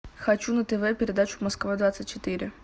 хочу на тв передачу москва двадцать четыре